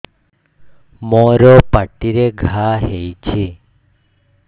ମୋର ପାଟିରେ ଘା ହେଇଚି